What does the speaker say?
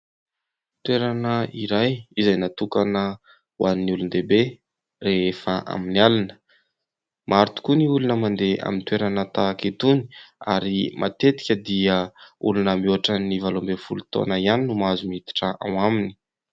Toerana iray izay natokana ho an'ny olon-dehibe rehefa amin'ny alina, maro tokoa ny olona mandeha amin'ny toerana tahaka itony ary matetika dia olona mihoatra ny valo amby folo taona ihany no mahazo miditra ao aminy.